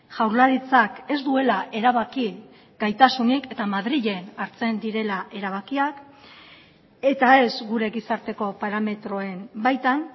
jaurlaritzak ez duela erabaki gaitasunik eta madrilen hartzen direla erabakiak eta ez gure gizarteko parametroen baitan